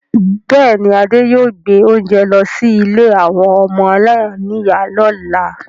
Bẹẹni, Adé yóò gbé oúnjẹ lọ sí ilé àwọn ọmọ aláìníìyá lọ́la.